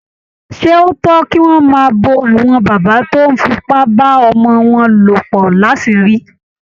Ṣé ó tọ́ kí wọ́n máa bo àwọn bàbá tó ń fipá bá ọmọ wọn lò pọ̀ láṣìírí?